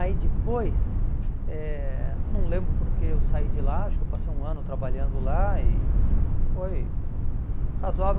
Aí depois, eh não lembro porque eu saí de lá, acho que eu passei um ano trabalhando lá e foi razoável.